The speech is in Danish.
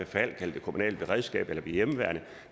falck eller det kommunale beredskab eller hjemmeværnet og